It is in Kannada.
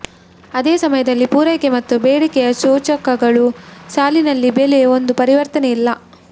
ಅದೇ ಸಮಯದಲ್ಲಿ ಪೂರೈಕೆ ಮತ್ತು ಬೇಡಿಕೆಯ ಸೂಚಕಗಳು ಸಾಲಿನಲ್ಲಿ ಬೆಲೆ ಒಂದು ಪರಿವರ್ತನೆ ಇಲ್ಲ